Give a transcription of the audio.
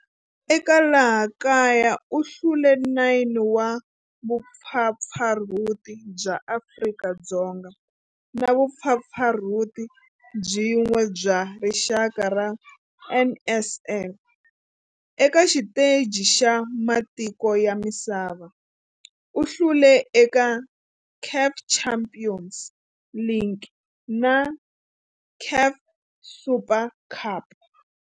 Eka laha kaya u hlule 9 wa vumpfampfarhuti bya Afrika-Dzonga na vumpfampfarhuti byin'we bya rixaka bya NSL. Eka xiteji xa matiko ya misava, u hlule eka CAF Champions League na CAF Super Cup.